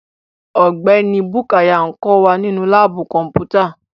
Ọgbẹni Bukuya n kọ wa ninu laabu kọnputa